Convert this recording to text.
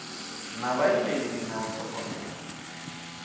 na vhaimeleli na u thogomela